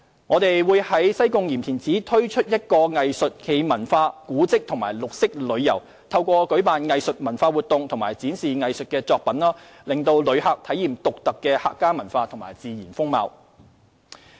我們會在西貢鹽田梓推出一個結合藝術、文化、古蹟及綠色旅遊的活動，透過舉辦藝術文化活動和展示藝術作品，讓旅客體驗獨特的客家文化及自然風貌。